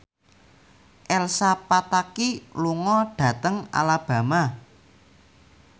Elsa Pataky lunga dhateng Alabama